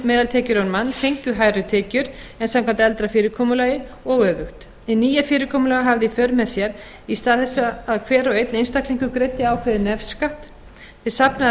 hærri tekjur en samkvæmt eldra fyrirkomulagi og öfugt hið nýja fyrirkomulag hafði í för með sér að í stað þess að hver og einn einstaklingur greiddi ákveðinn nefskatt til safnaðar